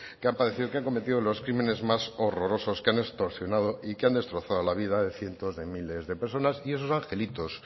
que ha padecido que han cometido los crímenes más horrorosos que han extorsionado y que han destrozado la vida de cientos de miles de personas y esos angelitos